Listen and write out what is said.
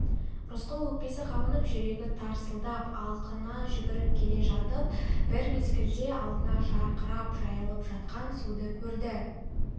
рысқұл өкпесі қабынып жүрегі тарсылдап алқына жүгіріп келе жатып бір мезгілде алдында жарқырап жайылып жатқан суды көрді